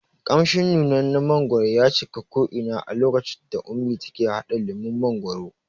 Ƙamshin nunannen mangwaro ya cika ko ina a lokacin da ummi take haɗa lemon mangwaro